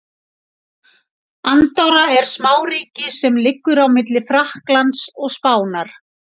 Andorra er smáríki sem liggur á milli Frakklands og Spánar.